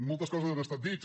moltes coses han estat dites